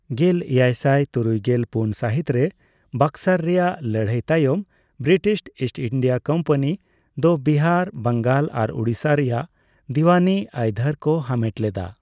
ᱜᱮᱞᱮᱭᱟᱭᱥᱟᱭ ᱛᱩᱨᱩᱭᱜᱮᱞ ᱯᱩᱱ ᱥᱟᱦᱤᱛ ᱨᱮ ᱵᱚᱠᱥᱟᱨ ᱨᱮᱭᱟᱜ ᱞᱟᱹᱲᱟᱹᱭ ᱛᱟᱭᱚᱢ, ᱵᱨᱤᱴᱤᱥ ᱤᱥᱴ ᱤᱱᱰᱤᱭᱟᱹ ᱠᱳᱢᱯᱟᱱᱤ ᱫᱚ ᱵᱤᱦᱟᱨ, ᱵᱟᱝᱟᱞ ᱟᱨ ᱩᱰᱤᱥᱟ ᱨᱮᱭᱟᱜ ᱫᱤᱣᱟᱱᱤ ᱟᱹᱭᱫᱷᱟᱹᱨ ᱠᱚ ᱦᱟᱢᱮᱴ ᱞᱮᱫᱟ᱾